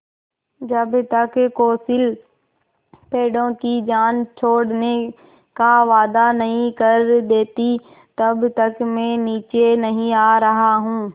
जब तक कौंसिल पेड़ों की जान छोड़ने का वायदा नहीं कर देती तब तक मैं नीचे नहीं आ रहा हूँ